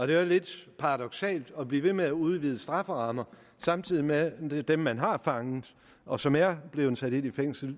det er jo lidt paradoksalt at blive ved med at udvide strafferammer samtidig med at dem man har fanget og som er blevet sat i fængsel